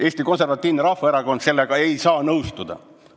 Eesti Konservatiivne Rahvaerakond ei saa sellega nõustuda.